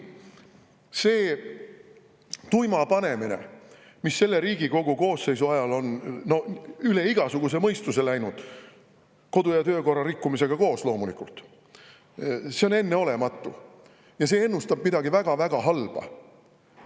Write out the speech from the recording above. See tuima panemine, mis selle Riigikogu koosseisu ajal on üle igasuguse mõistuse läinud, kodu- ja töökorra rikkumisega koos loomulikult, on enneolematu ja see ennustab midagi väga-väga halba.